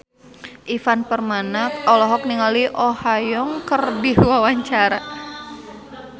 Ivan Permana olohok ningali Oh Ha Young keur diwawancara